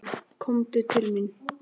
Komdu til mín.